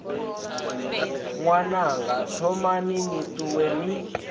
ṅwananga thomani ni ṱuwe ni